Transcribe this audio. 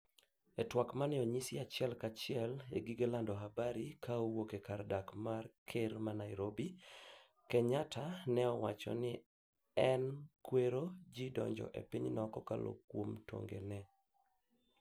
e twak maneonyis achiel ka achiel e gige lando habari ka owuok e kar dak mar ker Nairobi, Kenyatta ne owacho ni en kwero ji donjo e pinyno kokalo kuom tong'e ne